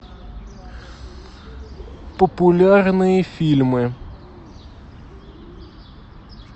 популярные фильмы